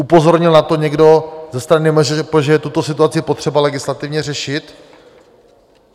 Upozornil na to někdo ze strany MŽP, že je tuto situaci potřeba legislativně řešit?